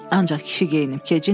Ancaq kişi geyinib-kecindi,